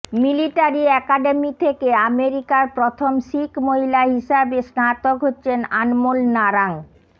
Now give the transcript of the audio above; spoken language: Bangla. মিলিটারি অ্যাকাডেমি থেকে আমেরিকার প্রথম শিখ মহিলা হিসেবে স্নাতক হচ্ছেন আনমোল নারাঙ্গ